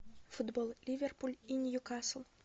футбол ливерпуль и ньюкасл